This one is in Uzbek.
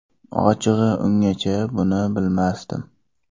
Ochig‘i, ungacha buni bilmasdim.